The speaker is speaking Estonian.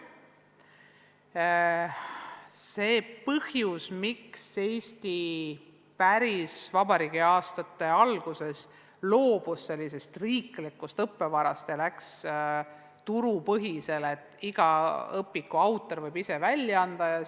Mis on see põhjus, miks Eesti päris vabariigi algusaastatel loobus riiklikust õppevarast ja läks üle turupõhisele, mille korral iga autor võib ise õpiku välja anda?